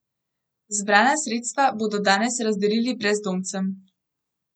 Zbrana sredstva bodo danes razdelili brezdomcem.